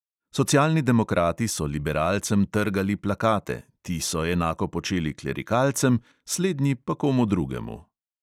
Socialni demokrati so liberalcem trgali plakate, ti so enako počeli klerikalcem, slednji pa komu drugemu.